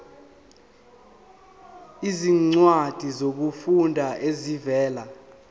izincwadi zokufunda ezivela